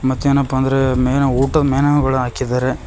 ಮತ್ತೇನಪ್ಪ ಅಂದ್ರೆ ಮೇಲ ಊಟದ್ ಮೆನು ಗಳು ಹಾಕಿದ್ದಾರೆ.